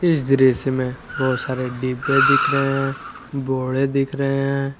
इस दृश्य में बहुत सारे डिब्बे दिख रहे हैं बोडे दिख रहे हैं।